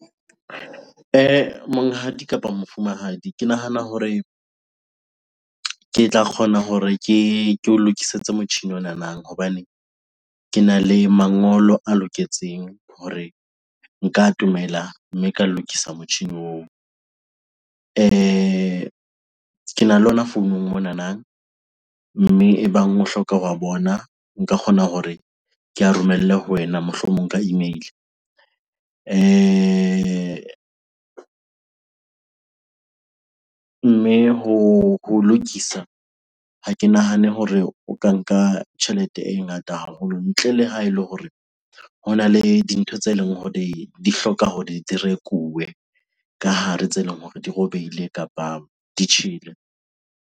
Monghadi kapa mofumahadi, ke nahana hore ke tla kgona hore ke o lokisetse motjhini onana hobane kena le mangolo a loketseng hore nka atomela mme ka lokisa motjhini. Kena le ona founung monana, mme ebang o hloka ho wa bona nka kgona hore ke a romelle ho wena, mohlomong ka email-e. Mme ho lokisa ha ke nahane hore o ka nka tjhelete e ngata haholo ntle le ha ele hore hona le dintho tse leng hore di hloka hore di rekuwe ka hare tse leng hore di robehile kapa di tjhele.